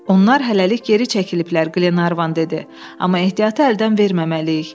“Onlar hələlik geri çəkiliblər”, Glenarvan dedi, “amma ehtiyatı əldən verməməliyik.